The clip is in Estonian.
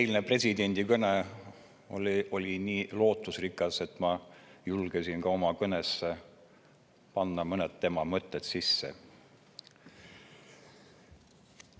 Eilne presidendi kõne oli nii lootusrikas, et ma julgesin ka oma kõnesse mõned tema mõtted sisse panna.